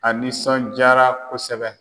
A nisɔnjaara kosɛbɛ.